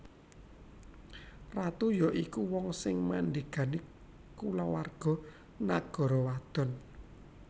Ratu ya iku wong sing mandhégani kulawarga nagara wadon